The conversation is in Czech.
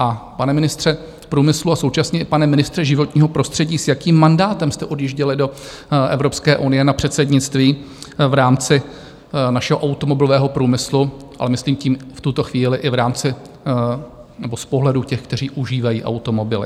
A pane ministře průmyslu a současně i pane ministře životního prostředí, s jakým mandátem jste odjížděli do Evropské unie na předsednictví v rámci našeho automobilového průmyslu, ale myslím tím v tuto chvíli i v rámci nebo z pohledu těch, kteří užívají automobily?